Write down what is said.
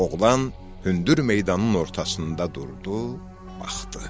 Oğlan hündür meydanın ortasında durdu, baxdı.